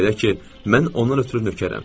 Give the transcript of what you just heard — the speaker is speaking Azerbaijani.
Belə ki, mən onun ötrü nökərəm.